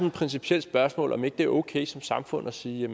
et principielt spørgsmål om ikke det er okay som samfund at sige